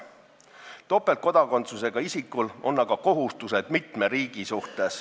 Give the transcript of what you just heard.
Topeltkodakondsusega isikul on aga kohustused mitme riigi vastu.